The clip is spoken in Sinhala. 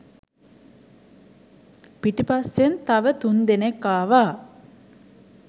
පිටිපස්සෙන් තව තුන් දෙනෙක් ආවා